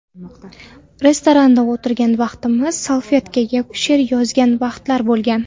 Restoranda o‘tirgan vaqtimiz salfetkaga she’r yozgan vaqtlari bo‘lgan.